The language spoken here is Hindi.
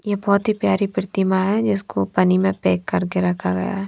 ये बहोत ही प्यारी प्रतिमा है जिसको पानी में पैक करके रखा गया है।